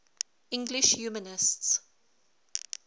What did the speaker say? english humanists